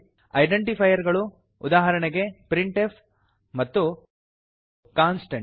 identifier ಗಳುಉದಾಹರಣೆಗೆ160printfಮತ್ತು constant